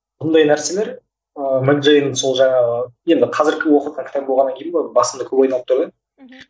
бұндай нәрселер ыыы мэг джейн сол жаңағы енді қазіргі оқыватқан кітап болғаннан кейін бе басымда көп айналып тұр да мхм